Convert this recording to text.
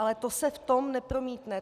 Ale to se v tom nepromítne.